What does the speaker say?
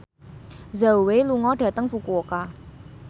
Zhao Wei lunga dhateng Fukuoka